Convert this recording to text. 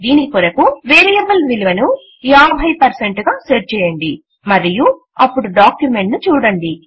దీని కొరకు వేరియబుల్ విలువ ను 50 గా సెట్ చేయండి మరియు అప్పుడు డాక్యుమెంట్ ను చూడండి